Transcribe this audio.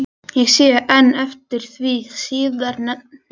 Ég sé enn eftir því síðar nefnda.